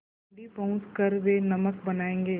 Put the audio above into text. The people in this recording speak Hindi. दाँडी पहुँच कर वे नमक बनायेंगे